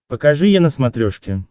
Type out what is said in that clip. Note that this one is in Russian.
покажи е на смотрешке